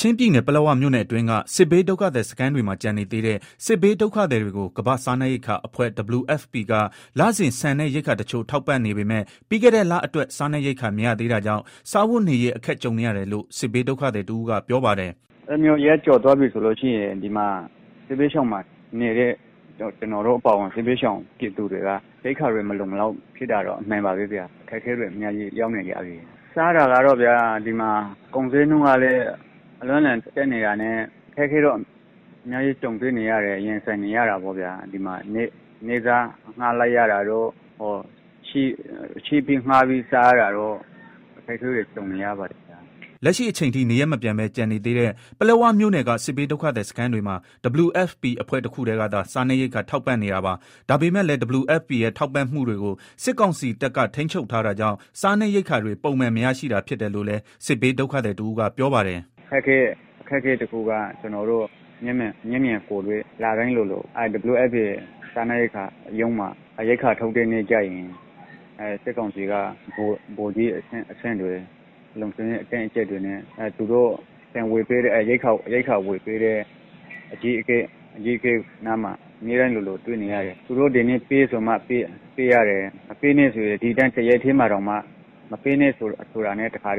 ချင်းပြည်နယ် ပလက်ဝမြို့နယ်အတွင်းက စစ်ဘေးဒုက္ခသည်စခန်းတွေမှာ ကျန်နေသေးတဲ့ စစ်ဘေးဒုက္ခသည်တွေကို ကမ္ဘာ့စားနပ်ရိက္ခာအဖွဲ့ WFP က လစဉ် ဆန်နဲ့ ရိက္ခာတချို့ ထောက်ပံ့နေပေမဲ့ ပြီးခဲ့တဲ့ လအတွက် စားနပ်ရိက္ခာမရသေးတာကြောင့် စားဝတ်နေရေး အခက်ကြုံနေရတယ်လို့ စစ်ဘေးဒုက္ခသည်တဦးကပြောပါတယ်။ “အဲလိုမျိုး ရက်ကျော်သွားပြီဆိုလို့ရှိရင် စစ်ဘေးဒုက္ခသည်စခန်းမှာနေတဲ့ ကျနော်တို့ အပါအဝင် စစ်ဘေးဒုက္ခသည်တွေက ရိက္ခာတွေမလုံမလောက်ဖြစ်တာတော့ အမှန်ပါပဲ ဗျာ၊ အခက်အခဲတွေ အများကြီးရောက်နေကြပြီ၊ စားတာကတော့ဗျာ ဒီမှာ ကုန်ဈေးနှုန်းကလည်း အလွန့်အလွန်တက်နေတာနဲ့ အခက်အခဲတွေနဲ့ ရင်ဆိုင်နေရတာပေါ့ဗျာ၊ နေ့စားအငှား လိုက်ရတာတို့ ချေးငှားပြီးစားရတာတို့ အခက်အခဲတွေ ကြုံနေရပါတယ်။” လက်ရှိအချိန်ထိ နေရပ်မပြန်ပဲ ကျန်နေသေးတဲ့ ပလက်ဝမြို့နယ်က စစ်ဘေးဒုက္ခသည် စခန်းတွေမှာ WFPအဖွဲ့တခုတည်းကသာ စားနပ်ရိက္ခာထောက်ပံ့နေတာပါ။ ဒါပေမယ့်လည်း WFPရဲ့ ထောက်ပံ့မှုကိုတွေကို စစ်ကောင်စီတပ်က ထိန်းချုပ်ထားတာကြောင့် စားနပ်ရိက္ခာ တွေ ပုံမှန်မရရှိတာဖြစ်တယ်လို့လည်း စစ်ဘေးဒုက္ခသည်တဦးကပြောပါတယ်။ “ အခက်အခဲတခုကတော့ ကျနော်တို့ လတိုင်းလိုလို WFP ရုံးမှာ ရိက္ခာထုတ်တဲ့အခါကျရင် စစ်ကောင်စီက ဗိုလ်ကြီးအဆင့်တွေ လုံခြုံရေး အတင်းအကြပ်တွေနဲ့ ရိက္ခာဝယ်ပေးတဲ့ အကြီးအကဲနားမှာ၊ အမြဲတမ်းလိုလို တွေ့နေရတယ်၊ သူတို့ကဒီနေ့ ပေးဆိုမှ ပေးရတယ် မပေးနဲ့ တော့ ဆိုရင် ပေးနေတဲ့ ဟာကို ရပ်လိုက်ရတယ်၊ အ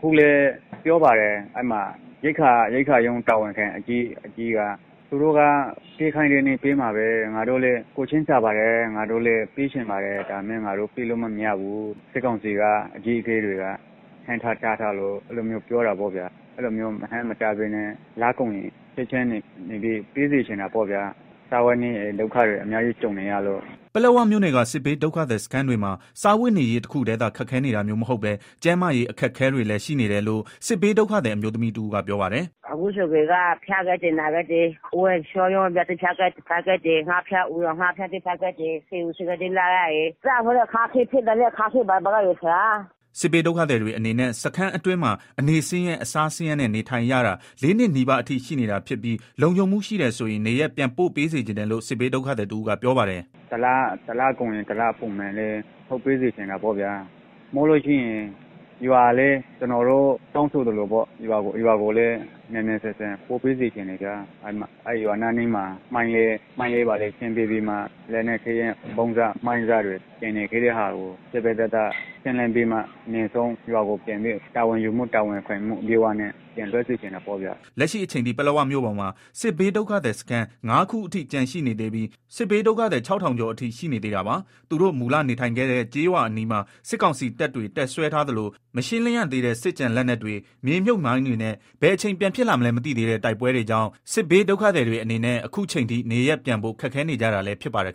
ခုလည်း ပြောပါတယ် ရိက္ခာရုံး တာဝန်ခံ အကြီးက သူတို့က ပေးခိုင်းတဲ့နေ့ပေးမှာပဲ ငါတို့လည်းကိုယ်ချင်းစာပါတယ်၊ ပေးချင်ပါတယ် ဒါပေမယ့် ငါတို့ ပေးလို့မရဘူး၊ စစ်ကောင်စီအကြီးအကဲတွေက ဟန့်ထား တားထားလို့ အဲလို မျိုးပြောတယ်။ အဲလိုမျိုးမဟန့်မတားပဲနဲ့ ပေးစေချင်တာပေါ့ဗျာ စားဝတ်နေရေး ဒုက္ခကြုံနေရတယ်။” ပလက်ဝမြို့နယ်က စစ်ဘေးဒုက္ခသည်စခန်းတွေမှာ စားဝတ်နေရေးတခုတည်းသာ ခက်ခဲနေတာမျိုးမဟုတ်ပဲကျန်းမာရေးအခက်အခဲတွေလည်း ရှိနေတယ်လို့လည်း စစ်ဘေးဒုက္ခသည်အမျိုးသမီးတဦးကပြောပါတယ်။ “ အခုဆိုရင် ဖျားကြတယ်၊ နာကြတယ် ဝမ်းပျက်ဝမ်းလျောတွေ ဖြစ်ကြတယ်၊ ငှက်ဖျား အူရောင်ငှက်ဖျားတွေ ဖြစ်ကြတယ်၊ ဆေးရုံးဆေးခန်းတွေ သွားရတယ် ပိုက်ဆံတွေလည်း မရှိဘူး၊ စားဝတ်နေရေးလည်း ခက်ခဲတယ်။” စစ်ဘေးဒုက္ခသည်တွေအနေနဲ့ စခန်းအတွင်းမှာ အနေဆင်းရဲ အစားဆင်းရေးနဲ့ နေထိုင်ရတာ ၄နှစ်နီးပါးအထိရှိနေတာဖြစ်ပြီးလုံခြုံမှုရှိတယ်ဆိုရင် နေရပ်ပြန်ပို့စေချင်တယ်လို့ စစ်ဘေးဒုက္ခသည်တဦးကပြောပါတယ်။ “ တလကုန်ရင် တလထုတ်ပေးစေချင်တာပေါ့ဗျာ၊ဒါမှမဟုတ် ကျနော်တို့ တောင်းဆိုသလို ရွာကိုလည်း မြန်မြန်ဆန်ဆန်ပို့ပေးစေချင်တယ်၊ ရွာအနီးမှာ မိုင်းတွေ ဘာတွေ ရှင်းပေးပြီး လက်နက်ခဲယမ်း မိုင်းစ ဗုံးစတွေ ကျန်နေခဲ့တဲ့ သေသေချာချာ ရှင်းလင်းပြီးမှ တာဝန်ယူမှုတာဝန်ခံမှု အပြည့်နဲ့ ပြန်လွတ်စေချင်တာပေါ့ဗျာ။” လက်ရှိအချိန်ထိ ပလက်ဝမြို့ပေါ်မှာ စစ်ဘေးဒုက္ခသည်စခန်း ၅ ခုအထိ ကျန်ရှိနေသေးပြီး စစ်ဘေးဒုက္ခသည် ၆ဝဝဝကျော်အထိရှိနေသေးတာပါ။သူတိုမူလနေထိုင်ခဲ့တဲ့ ကျေးရွာအနီးမှာ စစ်ကောင်စီတပ်တွေ တပ်စွဲထားသလို မရှင်းလင်းရသေးတဲ့ စစ်ကျန်လက်နက်တွေ မြေမြုပ် မိုင်းတွေနဲ့ ဘယ်အချိန် ပြန်ဖြစ်လာမလဲ မသိသေးတဲ့ တိုက်ပွဲတွေကြောင့် စစ်ဘေးဒုက္ခသည် တွေအနေနဲ့ အခုအချိန်ထိ နေရပ်ပြန်ဖို့ ခက်ခဲနေကြတာလည်းဖြစ်ပါတယ်